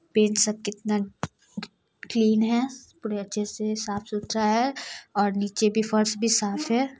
Pin सब कितना clean है बड़े अच्च्छे से साफ़-सुथरा है और निचे भी फर्स भी साफ है।